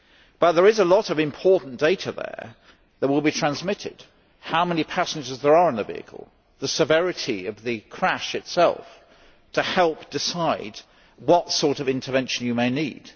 But there is a lot of important data there that will be transmitted how many passengers there are in the vehicle, the severity of the crash itself to help decide what sort of intervention you may need.